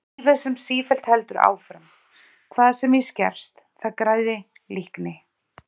Lífið sem sífellt heldur áfram, hvað sem í skerst, það græði, líkni?